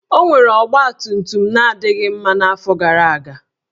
O nwere ọgbatumtum na-adịghị mma n'afọ gara aga